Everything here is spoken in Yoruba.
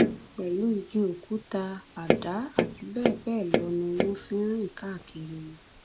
pẹlú igi òkúta àdá àti bẹẹ bẹẹ lọ ni wọn ń rìn káàkiri